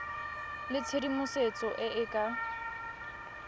le tshedimosetso e e ka